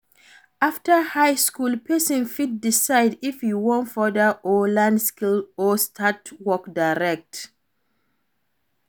After high school persin fit decide if e won further or learn skill or start work direct